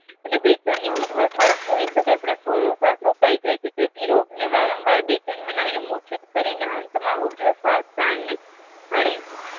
અને બેચેની ઉદ્ધવ શ્વાસ છોડી શકાય પરંતુ અડધો શ્વાસ રોકાઈ જાય જેથી રોગને વારંવાર બેચેન બનાવીને મૂર્છિત કરીને અંતમાં ઉધ્વ શ્વાસ પ્રાણને ભણે છે